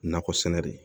Nakɔ sɛnɛ de